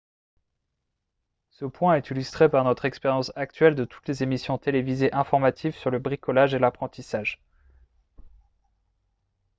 ce point est illustré par notre expérience actuelle de toutes les émissions télévisées informatives sur le bricolage et l'apprentissage